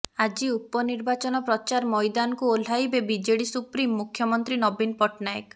ଆଜି ଉପନିର୍ବାଚନ ପ୍ରଚାର ମଇଦାନକୁ ଓହ୍ଲାଇବେ ବିଜେଡି ସୁପ୍ରିମୋ ମୁଖ୍ୟମନ୍ତ୍ରୀ ନବୀନ ପଟ୍ଟନାୟକ